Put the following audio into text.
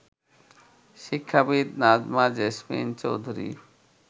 শিক্ষাবিদ নাজমা জেসমিন চৌধুরী